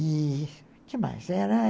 E demais. Era...